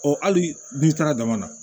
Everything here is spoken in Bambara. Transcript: hali n'i taara dama na